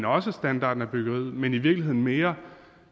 også standarden af byggeriet men i virkeligheden mere